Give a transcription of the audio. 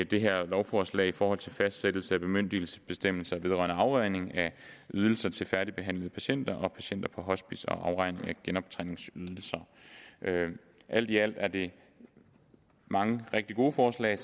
det her lovforslag i forhold til fastsættelse af bemyndigelsesbestemmelser vedrørende afregning af ydelser til færdigbehandlede patienter og patienter på hospice og afregning af genoptræningsydelser alt i alt er det mange rigtig gode forslag